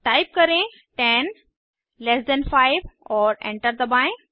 type करें 10 less than 5 और enter दबाएं